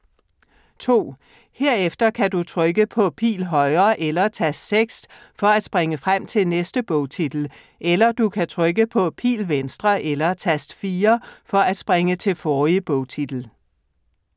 2. Herefter kan du trykke på Pil Højre eller Tast 6 for at springe frem til næste bogtitel, eller du kan trykke på Pil Venstre eller Tast 4 for at springe til forrige bogtitel.